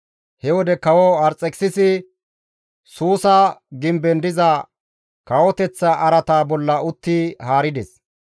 he wode kawo Arxekisisi Suusa gimben diza kawoteththa araata bolla utti haarides.